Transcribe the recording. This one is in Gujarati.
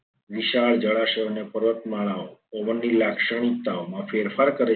વિશાળ જળાશયો અને પર્વતમાળાઓ ની લાક્ષણિકતાઓ માં ફેરફાર કરે છે.